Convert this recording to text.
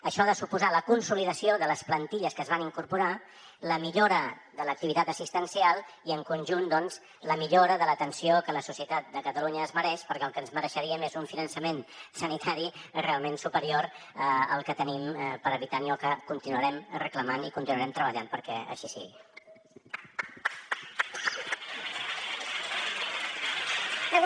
això ha de suposar la consolidació de les plantilles que es van incorporar la millora de l’activitat assistencial i en conjunt doncs la millora de l’atenció que la societat de catalunya es mereix perquè el que ens mereixeríem és un finançament sanitari realment superior al que tenim per habitant i que continuarem reclamant i continuarem treballant perquè així sigui